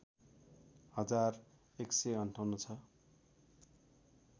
हजार १५८ छ